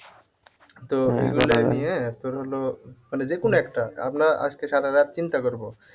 তো এগুলো নিয়ে তোর হলো মানে যেকোনো একটা আমরা আজকে সারারাত চিন্তা করবো।